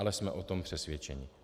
Ale jsme o tom přesvědčeni.